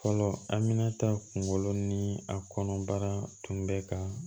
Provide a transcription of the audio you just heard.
Fɔlɔ amina ta kunkolo ni a kɔnɔbara tun bɛ ka